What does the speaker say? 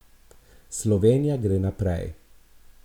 Slovenija gre naprej!